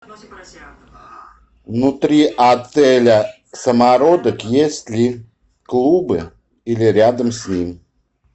внутри отеля самородок есть ли клубы или рядом с ним